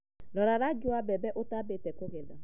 Rora rangi wa mbembe utambĩte kũgetha